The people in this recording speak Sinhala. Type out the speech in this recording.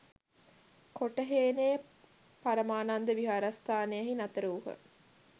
කොටහේනේ පරමානන්ද විහාරස්ථානයෙහි නතර වූහ.